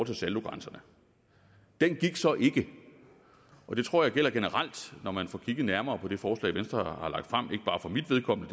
til saldogrænserne den gik så ikke og det tror jeg gælder generelt når man får kigget nærmere på det forslag venstre har lagt frem ikke bare for mit vedkommende